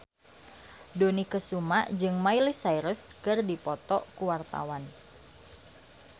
Dony Kesuma jeung Miley Cyrus keur dipoto ku wartawan